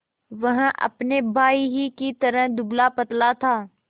वह अपने भाई ही की तरह दुबलापतला था